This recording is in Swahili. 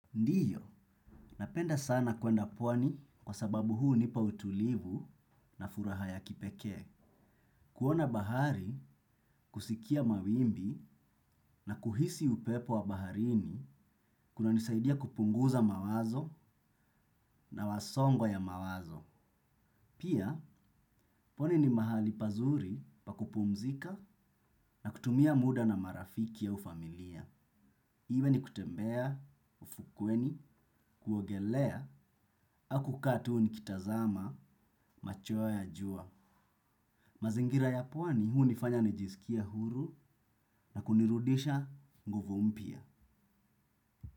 Ndiyo, napenda sana kwenda pwani kwa sababu hunipa utulivu na furaha ya kipeke. Kuona bahari, kusikia mawimbi na kuhisi upepo wa baharini kuna nisaidia kupunguza mawazo na wasongo ya mawazo. Pia, pwani ni mahali pazuri pakupumzika na kutumia muda na marafiki au familia. Iwe ni kutembea, ufukweni, kuogelea, hau kukaa to nikitazama, machweo ya jua. Mazingira ya pwani hunifanya nijiskie huru na kunirudisha nguvu mpya.